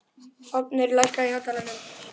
Fáfnir, lækkaðu í hátalaranum.